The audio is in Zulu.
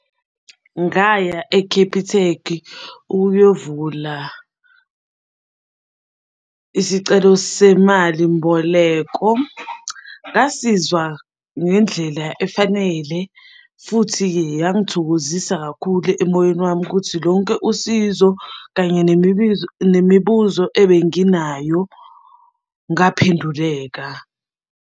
Ngaya e-Capitec ukuyovula isicelo semali mboleko. Ngasizwa ngendlela efanele futhi-ke yangithokozisa kakhulu emoyeni wami ukuthi lonke usizo kanye nemibuzo ebenginayo ngaphenduleka.